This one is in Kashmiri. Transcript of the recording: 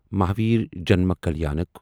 مہاویر جنما کلیانک